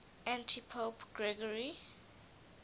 antipope gregory